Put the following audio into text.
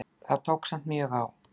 Það tók samt mjög á.